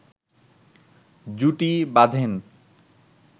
জুটি বাঁধেন